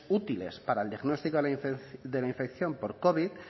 útiles para el diagnóstico de la infección por covid